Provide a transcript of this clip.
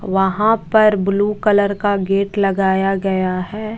वहा पर blue colour का गेट लगाया गया है।